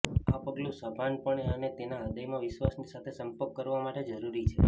આ પગલું સભાનપણે અને તેના હૃદયમાં વિશ્વાસની સાથે સંપર્ક કરવા માટે જરૂરી છે